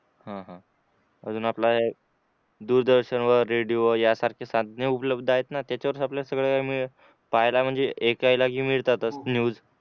हा हा अजून आपला दूरदर्शनवर रेडिओ यासारख्या साधना उपलब्ध आहे ना त्याच्यावरच आपले सगळे पहायला म्हणजे ऐकायलाही मिळतात च न्यूज